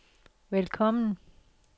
velkommen